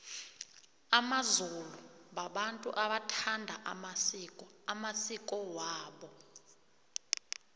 amazulu babantu abawathandako amasiko amasiko wabo